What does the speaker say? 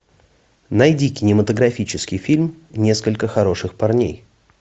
найди кинематографический фильм несколько хороших парней